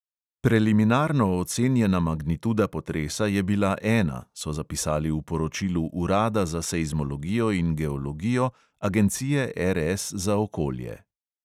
Preliminarno ocenjena magnituda potresa je bila ena, so zapisali v poročilu urada za seizmologijo in geologijo agencije RS za okolje.